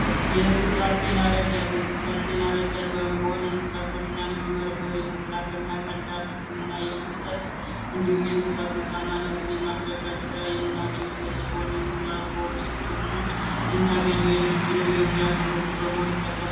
የእንስሳት ጤና ረዳት የእንሰሳት ይረዳት በመሆን የእንስሳት በሽታን የመከላከል እና ቀላል ህክምናን የመስጠት የእንስሳት ምርታማነትን የማሻሻል ስራ የምናገኝበት የሙያ ትምህርቶች ከሆኑት ውስጥ የምናገኘው በመሆኑ ይጠቀሳል።